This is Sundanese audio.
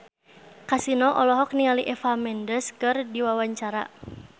Kasino olohok ningali Eva Mendes keur diwawancara